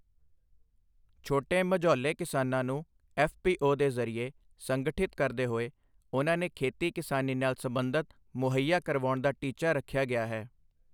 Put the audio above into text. ਛੋਟੇ ਮਝੌਲੇ ਕਿਸਾਨਾਂ ਨੂੰ ਐੱਫਪੀਓ ਦੇ ਜ਼ਰੀਏ ਸੰਗਠਿਤ ਕਰਦੇ ਹੋਏ ਉਨ੍ਹਾਂ ਨੇ ਖੇਤੀ ਕਿਸਾਨੀ ਨਾਲ ਸੰਬੰਧਿਤ ਮੁਹੱਇਆ ਕਰਵਾਉਣ ਦਾ ਟੀਚਾ ਰੱਖਿਆ ਗਿਆ ਹੈ,